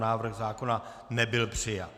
Návrh zákona nebyl přijat.